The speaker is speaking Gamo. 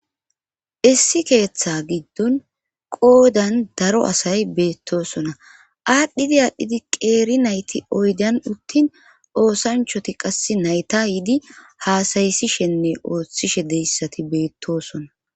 issi keeththa giddon qoodan daro asay beettosona aadhdhidi aadhdhidi qeeri nayti oydan uttin oosanchoti qas nayta yidi haasayisishenne ooththishe deyssati beettoson